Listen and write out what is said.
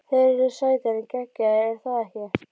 Þeir eru sætir en geggjaðir- er það ekki?